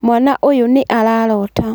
Mwana ũyũ nĩ ararota